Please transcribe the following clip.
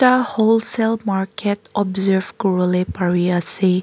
whole sale market observe kuribole pari ase.